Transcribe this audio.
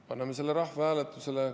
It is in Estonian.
Paneme selle rahvahääletusele.